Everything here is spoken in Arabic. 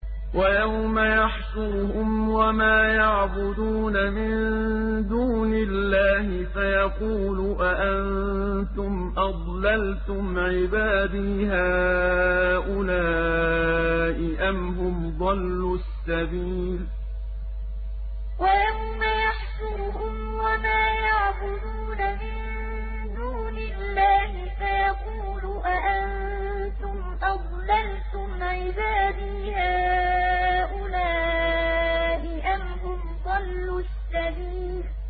وَيَوْمَ يَحْشُرُهُمْ وَمَا يَعْبُدُونَ مِن دُونِ اللَّهِ فَيَقُولُ أَأَنتُمْ أَضْلَلْتُمْ عِبَادِي هَٰؤُلَاءِ أَمْ هُمْ ضَلُّوا السَّبِيلَ وَيَوْمَ يَحْشُرُهُمْ وَمَا يَعْبُدُونَ مِن دُونِ اللَّهِ فَيَقُولُ أَأَنتُمْ أَضْلَلْتُمْ عِبَادِي هَٰؤُلَاءِ أَمْ هُمْ ضَلُّوا السَّبِيلَ